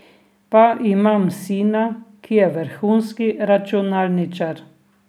Pa imam sina, ki je vrhunski računalničar.